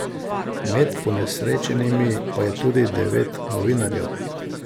Med ponesrečenimi pa je tudi devet novinarjev.